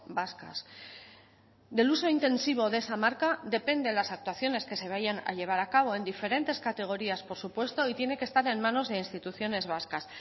vascas del uso intensivo de esa marca depende las actuaciones que se vayan a llevar a cabo en diferentes categorías por supuesto y tiene que estar en manos de instituciones vascas